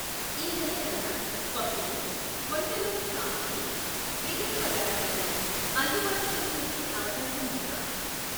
ఈ నెల కల్లా పప్పులు, వంట నూనె సామాగ్రి, విగన్ పదార్థాలు అందుబాటులోకి వచ్చే అవకాశం ఉందా?